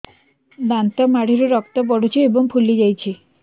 ଦାନ୍ତ ମାଢ଼ିରୁ ରକ୍ତ ପଡୁଛୁ ଏବଂ ଫୁଲି ଯାଇଛି